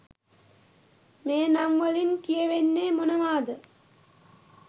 මේ නම් වලින් කියවෙන්නේ මොනවාද?